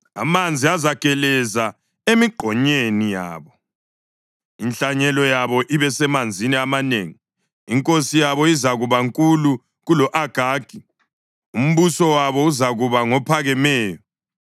Amanzi azageleza emigqonyeni yabo; inhlanyelo yabo ibe semanzini amanengi. Inkosi yabo izakuba nkulu kulo-Agagi; umbuso wabo uzakuba ngophakemeyo.